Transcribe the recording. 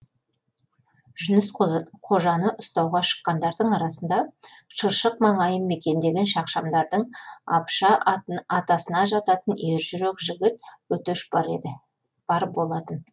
жүніс қожаны ұстауға шыққандар арасында шыршық маңайын мекендеген шақшамдардың абыша атасына жататын ержүрек жігіт өтеш бар еді бар болатын